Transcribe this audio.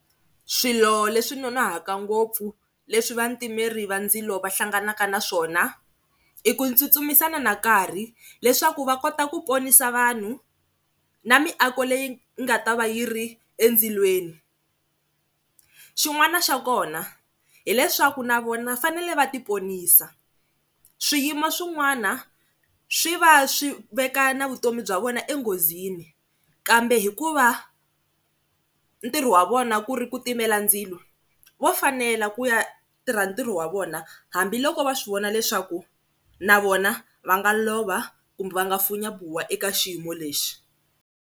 Swilo leswi noonohaka ngopfu leswi vatimeri va ndzilo va hlanganaka na swona i ku tsutsumisana na nkarhi leswaku va kota ku ponisa vanhu na miako leyi nga ta va yi ri endzilweni, xin'wana xa kona hileswaku na vona va fanele va ti ponisa, swiyimo swin'wana swi va swi veka na vutomi bya vona enghozini kambe hikuva ntirho wa vona ku ri ku timela ndzilo vo fanela ku ya tirha ntirho wa vona hambiloko va swi vona leswaku na vona va nga lova kumbe va nga funya buwa eka xiyimo lexi.